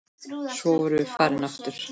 Svo vorum við farin aftur.